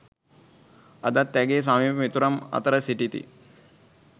අදත් ඇගේ සමීප මිතුරන් අතර සිටිති.